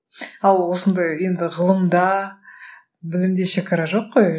ал осындай енді ғылымда білімде шегара жоқ қой